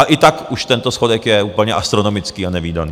A i tak už tento schodek je úplně astronomický a nevídaný.